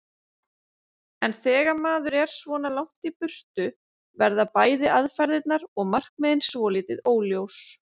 En þegar maður er svona langt í burtu verða bæði aðferðirnar og markmiðin svolítið óljós.